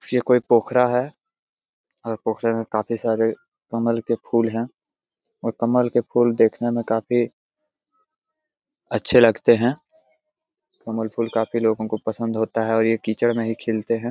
ये कोई पोखरा है और पोखरे में काफी सारे कमल के फूल है और कमल के फूल देखने में काफी अच्छे लगते है कमल के फूल लोगों को पसंद होता है और यह कीचड़ में ही खिलते हैं।